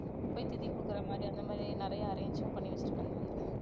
போய் திதி கொடுக்கிற மாதிரி அந்த மாதிரி நிறைய arrange ம் பண்ணி வச்சிருக்காங்க அங்க